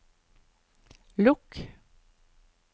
lukk